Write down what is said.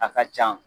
A ka ca